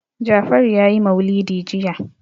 Jafaru ya yi maulidi jiya.